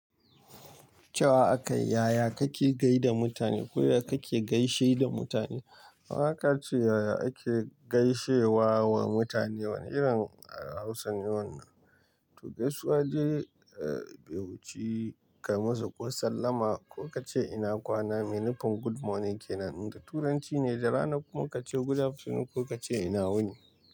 Cewa aka yi yaya kake gai da mutane ko da kake gaishe da mutane. Haka ce yaya ake gaishewa wa mutane wani irin a Hausa ne wannan. To gaisuwade, eh baiwuchi ka masa ko sallama ko ka ce ina kwana. Meaning good morning kenan. Inda Turanci ne da rana kuma ka ce good afternoon ko ka ce ina wuni.